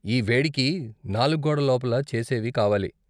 ఈ వేడికి నాలుగు గోడల లోపల చేసేవి కావాలి.